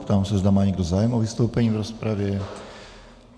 Ptám se, zda má někdo zájem o vystoupení v rozpravě.